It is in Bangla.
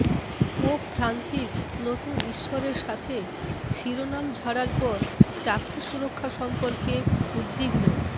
পোপ ফ্রান্সিস নতুন ঈশ্বরের সাথে শিরোনাম ঝাড়ার পর চাকরি সুরক্ষা সম্পর্কে উদ্বিগ্ন